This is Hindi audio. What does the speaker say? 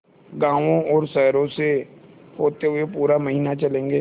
गाँवों और शहरों से होते हुए पूरा महीना चलेंगे